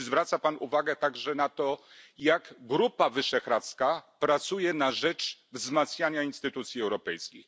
Czy zwraca Pan uwagę także na to, jak Grupa Wyszehradzka pracuje na rzecz wzmacniania instytucji europejskich?